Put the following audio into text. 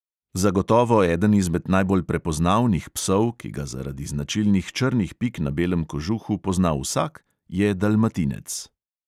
Zagotovo eden izmed najbolj prepoznavnih psov, ki ga zaradi značilnih črnih pik na belem kožuhu pozna vsak, je dalmatinec.